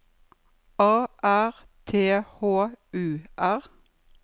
A R T H U R